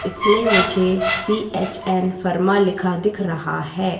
इसमें मुझे C H N pharma लिखा दिख रहा है।